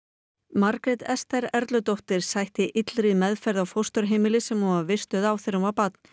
Margrét Esther sætti illri meðferð á fósturheimili sem hún var vistuð á þegar hún var barn